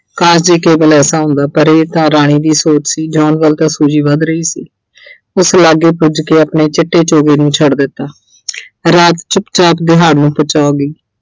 ਕਾਸ਼ ਜੇ ਕੇਵਲ ਐਸਾ ਹੁੰਦਾ ਪਰ ਇਹ ਤਾਂ ਰਾਣੀ ਦੀ ਸੋਚ ਸੀ John ਵੱਲ ਤਾਂ Suji ਵੱਧ ਰਹੀ ਸੀ। ਉਸ ਲਾਗੇ ਪੁੱਜ ਕੇ ਆਪਣੇ ਚਿੱਟੇ ਚੋਗੇ ਨੂੰ ਛੱਡ ਦਿੱਤਾ ਰਾਤ ਚੁੱਪ-ਚਾਪ ਨੂੰ ਹੋ ਗਈ